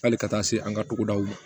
Hali ka taa se an ka togodaw ma